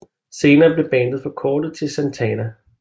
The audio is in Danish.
Senere blev bandet forkortet til Santana